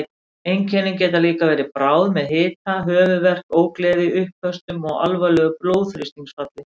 Einkennin geta líka verið bráð með hita, höfuðverk, ógleði, uppköstum og alvarlegu blóðþrýstingsfalli.